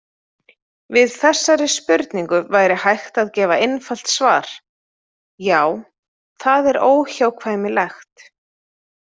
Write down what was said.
Við þessari spurningu væri hægt að gefa einfalt svar: Já, það er óhjákvæmilegt.